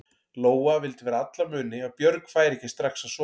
Lóa vildi fyrir alla muni að Björg færi ekki strax að sofa.